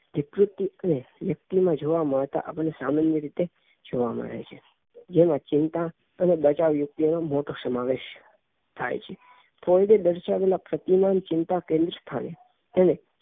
વિકૃતિ કે વ્યક્તિમાં જોવા મળે સામાન્ય રીતે જોવા મળે છે જેમાં ચિંતા અને બચાવયુક્તિ નો મોટો સમાવેશ થાય છે ફ્લોયડ એ દર્શાવેલા ચિંતા કે